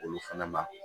Olu fɛnɛ ma